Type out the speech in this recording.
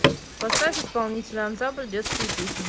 поставь исполнителя ансамбль детские песни